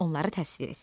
Onları təsvir et.